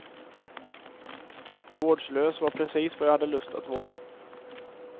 Vårdslös var precis vad jag hade lust att vara.